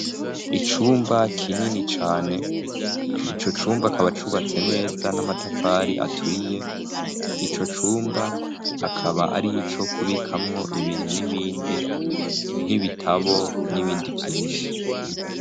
Icumba kinini cane, ico cumba akaba cubatse neza n'amatafari aturiye, ico cumba akaba ari ico kubikamwo ibintu n'ibindi nk'ibitabo n'ibindi vyinshi.